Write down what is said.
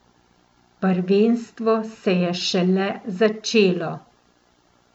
Prvenstvo se je šele začelo.